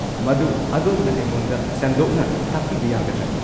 ꯃꯗꯨ ꯑꯗꯣꯝꯅ ꯑꯩꯉꯣꯟꯗ ꯁꯟꯗꯣꯛꯅ ꯇꯥꯛꯄꯤꯕ ꯌꯥꯒꯗ꯭ꯔꯥ?